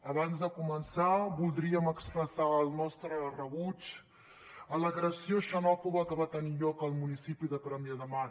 abans de començar voldríem expressar el nostre rebuig a l’agressió xenòfoba que va tenir lloc al municipi de premià de mar